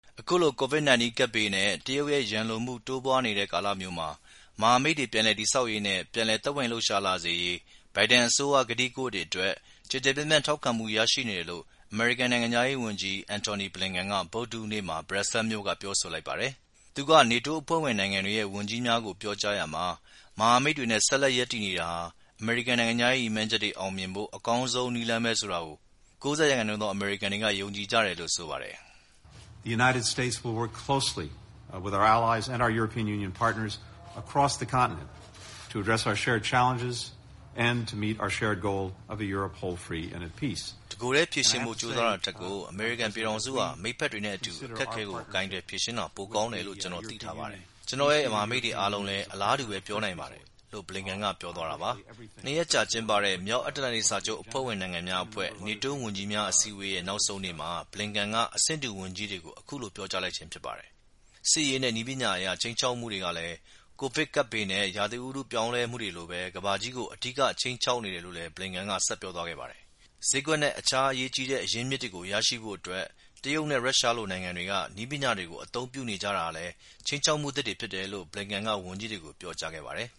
အခုလို COVID-19 ကပ်ဘေးနဲ့တရုတ်ရဲ့ ရန်လိုမှု တိုးပွားနေတဲ့ ကာလမျိူးမှာ မဟာမိတ်တွေ ပြန်လည်တည်ဆောက်ရေးနဲ့ပြန်လည် သက်ဝင်လှုပ်ရှားလာစေရေး ဘိုင်ဒန်အစိုးရရဲ့ ကတိကဝတ်အတွက် ကျယ်ကျယ်ပြန် ့ထောက်ခံမှုရရှိနေတယ်လို ့အမေရိကန် နိုင်ငံခြားရေးဝန်ကြီး Antony Blinken ဗုဒ္ဓဟူးနေ့က Brussels မြို့မှာ ပြောဆိုလိုက်ပါတယ်။ သူက NATO အဖွဲ့ဝင်နိုင်ငံတွေရဲ့ ဝန်ကြီးများကို ပြောကြားရာမှာ မဟာမိတ်တွေနဲ့ဆက်လက် ရပ်တည်နေတာဟာ အမေရိကန်နိုင်ငံခြားရေးရည်မှန်းချက်တွေ အောင်မြင်ဖို့ အကောင်းဆုံးနည်းလမ်းပဲလို့၉၀ ရာခိုင်နှုန်းသော အမေရိကန်တွေ ယုံကြည်ကြတယ်လို့ လည်းဆိုပါတယ်။ “ တကိုယ်ထဲ ဖြေရှင်းဖို့ကြိုးစားတာထက်ကို အမေရိကန်ပြည်ထောင်စုဟာ မိတ်ဖက်တွေနဲ့အတူ အခက်အခဲတွေကို ကိုင်တွယ်ဖြေရှင်းသွားတာ ပိုကောင်းတယ်လို့ ကျနော်သိထားပါတယ်။ ကျနော်တို့ရဲ့ မဟာမိတ်တွေအားလုံးလည်း အလားတူပဲ ပြောနိုင်ပါတယ်။” လို့ Blinken က ပြောသွားတာပါ။ ၂ ရက်အကြာကျင်းပတဲ့မြောက်အတ္တလန်တိတ်စာချုပ် NATO အဖွဲ့ဝင်နိုင်င်ငံ ဝန်ကြီးများ အစည်းအဝေးရဲ့ နောက်ဆုံးနေ့မှာ Blinken က အဆင့်တူ ဝန်ကြီးတွေကို အခုလို ပြောကြားလိုက်ခြင်းဖြစ်ပါတယ်။ စစ်ရေးနဲ့နည်းပညာအရ ခြိမ်းခြောက်မှုတွေဟာလည်း COVID-19 ကပ်ဘေးနဲ့ဥတုရာသီပြောင်းလဲမှုတို့လိုပဲ ကမ္ဘာကြီးကို အဓိကခြိမ်းခြောက်နေတယ် လို့လည်း Blinken က ဆက်ပြောသွားခဲ့ပါတယ်။ ဈေးကွက်နဲ့အခြားအရေးကြီးတဲ့ အရင်းအမြစ်တွေကို ရရှိဖို့အတွက် တရုတ်နဲ့ ရုရှားလို နိုင်ငံတွေဟာ နည်းပညာတွေကို အသုံးပြုနေကြတာဟာလည်း ခြိမ်းခြောက်မှုအသစ်တွေဖြစ်တယ်လို့ Blinken က ဝန်ကြီးတွေကို ပြောကြားခဲ့ပါတယ်